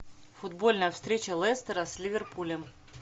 футбольная встреча лестера с ливерпулем